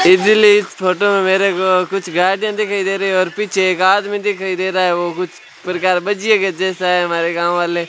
easily इस photo में मेरे को कुछ गाड़ियां दिखाई दे रही हैं और पीछे एक आदमी दिखाई दे रहा है वो कुछ प्रकार भजिए के जैसा है हमारे गांव वाले --